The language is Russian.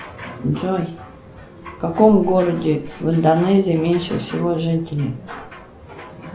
джой в каком городе в индонезии меньше всего жителей